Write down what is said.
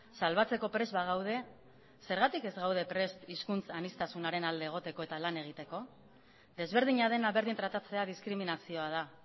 salbatzeko prest bagaude zergatik ez gaude prest hizkuntz aniztasunaren alde egoteko eta lan egiteko desberdina dena berdin tratatzea diskriminazioa da